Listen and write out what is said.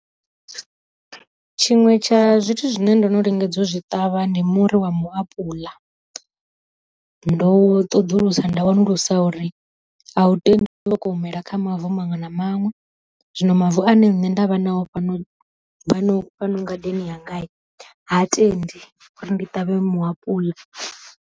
Tshiṅwe tsha zwithu zwine ndo no lingedza u zwi ṱavha ndi muri wa mu apuḽa, ndo ṱoḓulusa nda wanulusa uri a u tendi u soko umela kha mavu maṅwe na maṅwe, zwino mavu ane nṋe nda vha nao fhano fhano ngadeni yanga ha tendi uri ndi ṱavhe mu apuḽa.